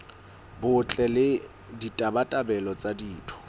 botle le ditabatabelo tsa ditho